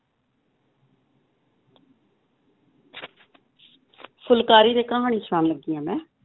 ਫੁਲਕਾਰੀ ਦੀ ਕਹਾਣੀ ਸੁਣਾਉਣ ਲੱਗੀ ਹਾਂ ਮੈਂ,